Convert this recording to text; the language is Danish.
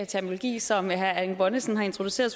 terminologi som herre erling bonnesen har introduceret